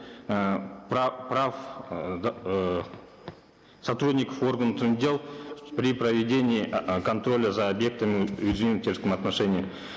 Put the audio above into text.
э прав э э сотрудников органов внутренних дел при проведении контроля за объектами отношении